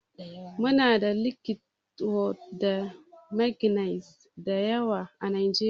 Muna da litiwom da manganiz da yawa a Najeriya.